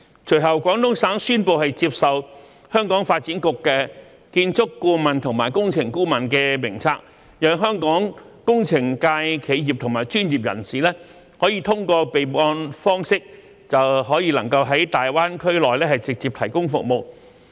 隨後，廣東省宣布接受香港發展局的建築顧問和工程顧問名冊，讓香港工程界企業和專業人士通過備案方式便可在大灣區內直接提供服務。